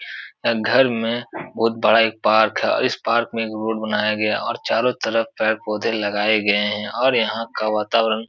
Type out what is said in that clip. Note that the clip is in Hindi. घर में बहोत बड़ा एक पार्क है। इस पार्क मे रोड बनाया गया है और चारो तरफ पेड़ पोधे लगाये गये है और यहाँ का वातावरण --